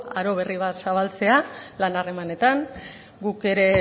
aro berri bat zabaltzea lan harremanetan guk ere